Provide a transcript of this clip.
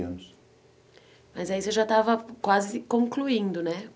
anos. Mas aí você já estava quase concluindo, né?